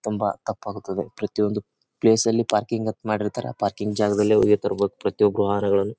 ತುಂಬಾ ತಪ್ಪಾಗುತ್ತದೆ ಪ್ರತಿಯೊಂದು ಪ್ಲೇಸ್ ಲಿ ಪಾರ್ಕಿಂಗ್ ಅಂತ ಮಾಡಿರ್ತಾರೆ ಆ ಪಾರ್ಕಿಂಗ್ ಜಾಗದಲ್ಲಿ ಹೋಗಿ ತರ್ಬೇಕು ಪ್ರತಿಯೊಬ್ಬರು ವಾಹನಗಳನ್ನು.